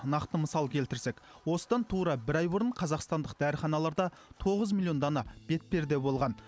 нақты мысал келтірсек осыдан тура бір ай бұрын қазақстандық дәріханаларда тоғыз миллион дана бетперде болған